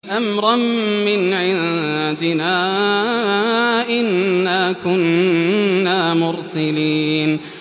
أَمْرًا مِّنْ عِندِنَا ۚ إِنَّا كُنَّا مُرْسِلِينَ